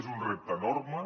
és un repte enorme